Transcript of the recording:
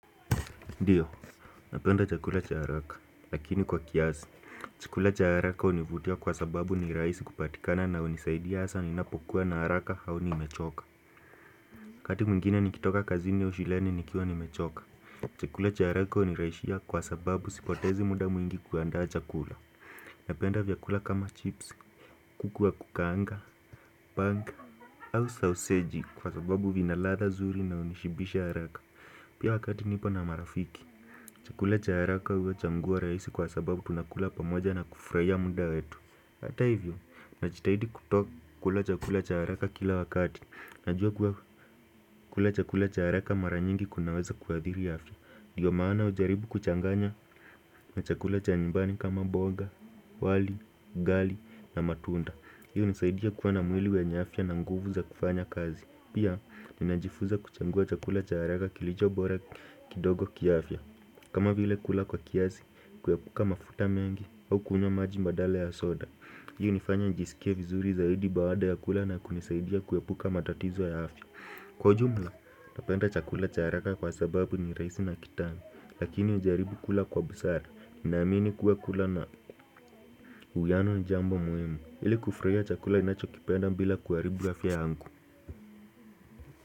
Ndio napenda chakula cha haraka lakini kwa kiasi. Chakula cha haraka hunivutia kwa sababu ni rahisi kupatikana na hunisaidia hasa ninapokua na haraka au nimechoka. Wakati mwingine nikitoka kazini au shuleni nikiwa nimechoka. Chakula cha haraka hunirahisia kwa sababu sipotezi muda mwingi kuandaa chakula. Napenda vyakula kama chips, kuku wa kukaanga, baga au sausaji kwa sababu vina ladha zuri na hunishibisha haraka. Pia wakati nipo na marafiki, chakula cha haraka huwe chaguo rahisi kwa sababu tuna kula pamoja na kufurahia muda wetu. Ata hivyo, najitahidi kutoka kula chakula cha haraka kila wakati. Najua kula chakula cha haraka mara nyingi kunaweza kuadhiri afya. Ndiyo maana hujaribu kuchanganya na chakula cha nyumbani kama mboga, wali, ugali na matunda. Hiyo hunisaidia kuwa na mwili wenye afya na nguvu za kufanya kazi. Pia, ninajifunza kuchagua chakula cha haraka kilicho bora kidogo kiafya. Kama vile kula kwa kiazi, kuepuka mafuta mengi au kunywa maji badala ya soda. Hii hunifanya njisikie vizuri zaidi baada ya kula na kunisaidia kuepuka matatizo ya afya. Kwa jumla, napenda chakula cha haraka kwa sababu ni rahisi na kitamu. Lakini hujaribu kula kwa busara. Nina amini kuwa kula na uwiano ni jambo muhimu. Ili kufurahia chakula ninacho kipenda bila kuharibu afya yangu.